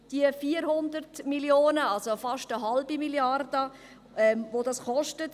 Es sind 400 Mio. Franken, also fast eine halbe Milliarde, die das kostet.